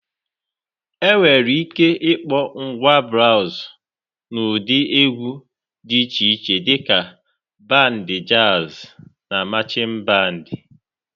Enwere ike ịkpọ ngwa braazụ n'ụdị egwu dị iche iche dịka: band jazz na marching band.